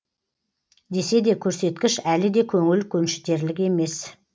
десе де көрсеткіш әлі де көңіл көншітерлік емес